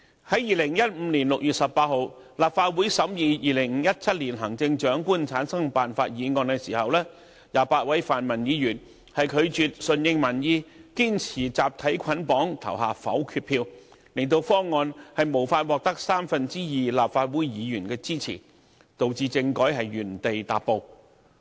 在2015年6月18日，立法會審議有關2017年行政長官產生辦法的議案 ，28 位泛民議員拒絕順應民意，堅持集體捆綁投下否決票，令方案無法獲得三分之二立法會議員支持，導致政制原地踏步。